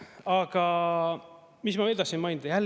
Aga mis ma veel tahtsin mainida?